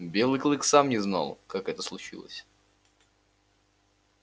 белый клык сам не знал как это случилось